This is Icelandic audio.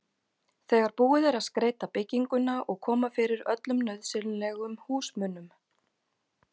þegar búið er að skreyta bygginguna og koma fyrir öllum nauðsynlegum húsmunum.